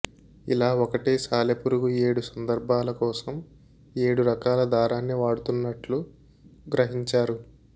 ఇలా ఒకటే సాలెపురుగు ఏడు సందర్భాల కోసం ఏడు రకాల దారాన్ని వాడుతున్నట్లు గ్రహించారు